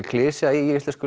klisja í íslensku